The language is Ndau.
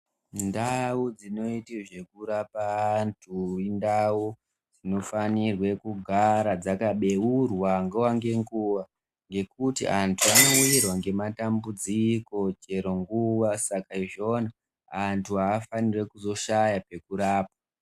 Ndau dzinoite zvekurapa antu indau dzinofanirwe kugara dzakabeurwa nguwa ngenguwa ngekuti antu anowirwa ngematambudziko chero nguwa saka izvoni, antu afaniri kuzoshaya pekurapwa.